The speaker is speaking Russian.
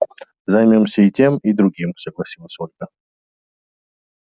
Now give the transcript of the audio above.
займёмся и тем и другим согласилась ольга